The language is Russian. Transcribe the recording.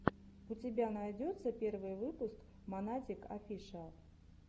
у тебя найдется первый выпуск монатик офишиал